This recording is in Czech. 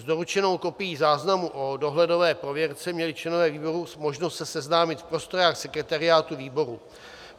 S doručenou kopií záznamu o dohledové prověrce měli členové výboru možnost se seznámit v prostorách sekretariátu výboru.